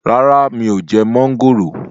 Rárá mi ò jẹ mọ́ńgòrò